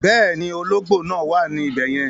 Bẹ́ẹ̀ni, ọlọ́gbò náà wà ní ibẹ̀yẹ̀n